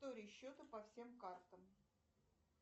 история счета по всем картам